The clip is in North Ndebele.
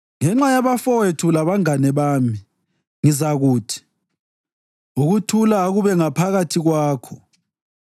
Ngenxa yabafowethu labangane bami, ngizakuthi, “Ukuthula akube ngaphakathi kwakho.”